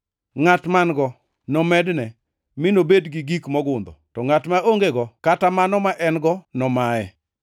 Ngʼat man-go nomedne mi nobed gi gik mogundho; to ngʼat ma ongego kata mano ma en-go nomaye.